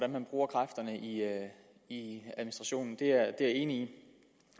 man bruger kræfterne i i administrationen det er jeg enig